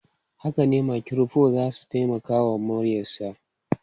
Haka ne, makirufo za su taimaka wa muryarsa.